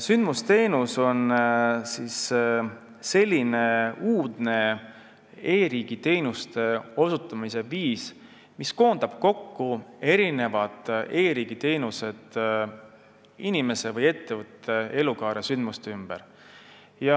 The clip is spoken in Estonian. Sündmusteenus on selline uudne e-riigi teenuste osutamise viis, mis koondab kokku e-riigi teenused inimese või ettevõtte elukaare sündmuste ümber.